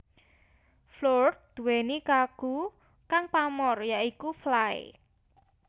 Floored duweni lagu kang pamor ya iku Fly